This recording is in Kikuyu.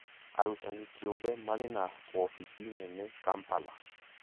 Arutani kĩũmbe marĩ na wobici nene Kampala